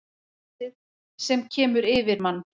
Hrekkleysið sem kemur yfir mann.